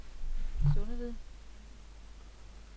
Sundeved